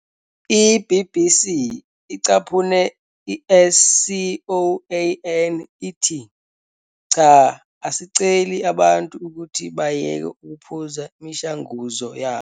I-BBC icaphune i-SCOAN ithi "Cha, asiceli abantu ukuthi bayeke ukuphuza imishanguzo yabo".